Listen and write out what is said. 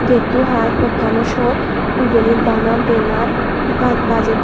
getto haai pottano siot ibeynit bana benar ba bajey duon.